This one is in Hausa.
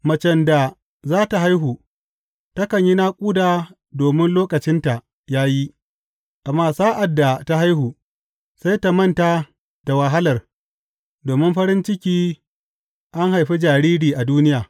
Macen da za tă haihu takan yi naƙuda domin lokacinta ya yi; amma sa’ad da ta haihu, sai ta manta da wahalar domin farin ciki an haifi jariri a duniya.